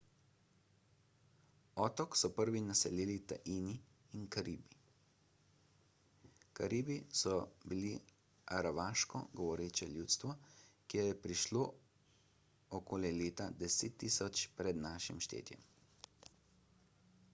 otok so prvi naselili taini in karibi karibi so bili aravaško govoreče ljudstvo ki je prišlo okoli leta 10.000 pr n š